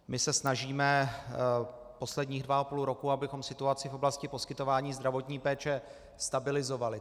My se snažíme posledních dva a půl roku, abychom situaci v oblasti poskytování zdravotní péče stabilizovali.